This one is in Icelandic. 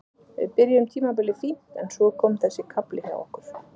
Við byrjuðum tímabilið fínt en svo kom þessi kafli hjá okkur.